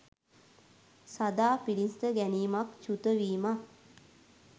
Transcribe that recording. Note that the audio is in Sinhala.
සදා පිළිසිඳ ගැනීමක්, චුතවීමක්